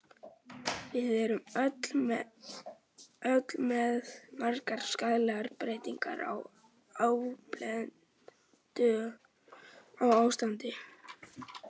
Við erum öll með margar skaðlegar breytingar, á arfblendnu ástandi.